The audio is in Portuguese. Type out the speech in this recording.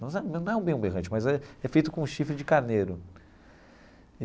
Não é bem um berrante, mas é é feito com chifre de carneiro.